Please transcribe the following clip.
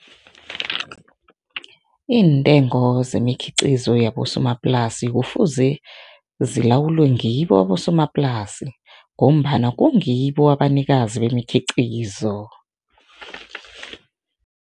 Iintengo zemikhiqizo yabosomaplasi kufuze zilawulwe ngibo abosomaplasi ngombana kungibo abanikazi bemikhiqizo.